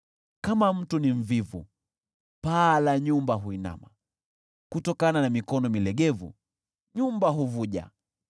Kama mtu ni mvivu paa la nyumba huinama, kutokana na mikono milegevu, nyumba huvuja.